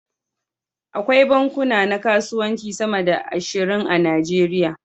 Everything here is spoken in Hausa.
Akwai bankuna na kasuwanci sama da ashirin a Najeriya.